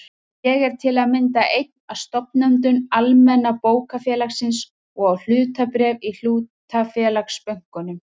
Ég er til að mynda einn af stofnendum Almenna bókafélagsins og á hlutabréf í hlutafélagsbönkunum.